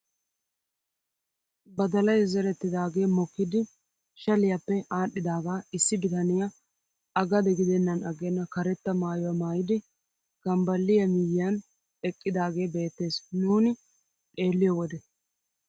Badalay zerettidagee mokkidi shaliyaappe aadhdhidagaa issi bitaniyaa a gade gidennan agenna karetta maayuwaa maayidi kambbaliyaa miyiyaan eqqidaagee beettees nuuni xeelliyoo wode.